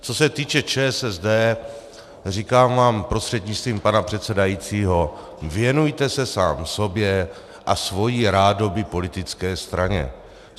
Co se týče ČSSD, říkám vám prostřednictvím pana předsedajícího, věnujte se sám sobě a svojí rádoby politické straně.